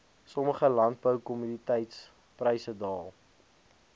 sommige landboukommoditetispryse daal